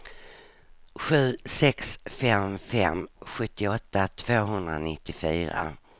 sju sex fem fem sjuttioåtta tvåhundranittiofyra